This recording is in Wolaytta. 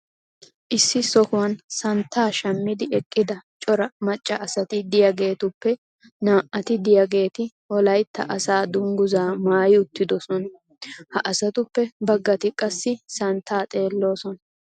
issi sohuwan santtaa shamiidi eqqida cora macca asati diyaageetuppe naa'ati diyaageeti wolaytta asaa dangguzzaa maayi uttidosona. ha asatuppe bagati qassi santtaa xeeloosona.